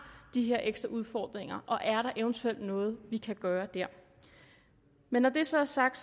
de her ekstra udfordringer og er der eventuelt noget vi kan gøre der men når det så er sagt